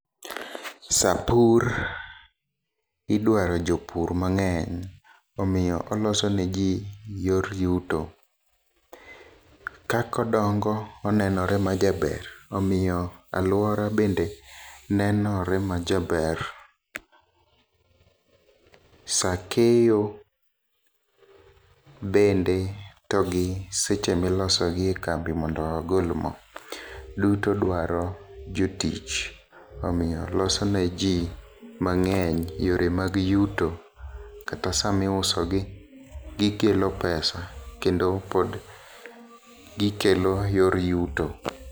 Saa pur idwaro jopur mang'eny omiyo oloso ne jii yor yuto. Kakodongo onenore ma jaber omiyo aluora bende nenore ma jaber . Saa keyo bende to gi seche miloso gie kambi mondo ogol moo duto dwaro jotich omiyo loso ne jii mang'eny yore mag yuto kata saa miuso gi gikelo pesa kendo pod gikelo yor yuto .